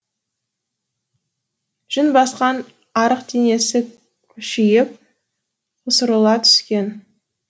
жүн басқан арық денесі кушиып қусырыла түскен